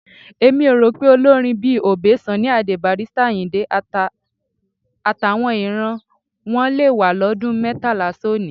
Èmi ò rò pé olórin bíi Obey, Sunny Adé, Barrister Àyìndé, àtàwọn ìran wọn le wà lọ́dún mẹ́tàlá sónìí.